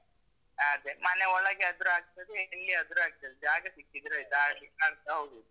ಅದೇ, ಮನೆ ಒಳಗೆ ಆದ್ರೂ ಆಗ್ತದೆ, ಎಲ್ಲಿಯಾದ್ರೂ ಆಗ್ತದೆ. ಜಾಗ ಸಿಕ್ಕಿದ್ರೆ ಆಯ್ತು, ಆಡ್ಲಿಕ್ ಅದೇ ಹೌದು.